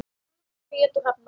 Guðrún Bríet og Hrefna.